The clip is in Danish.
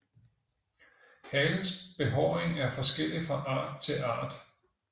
Halens behåring er forskellig fra art til art